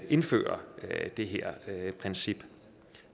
indføre det her princip